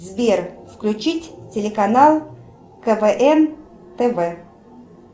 сбер включить телеканал квн тв